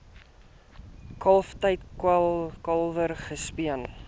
kalftyd kalwers gespeen